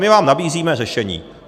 My vám nabízíme řešení.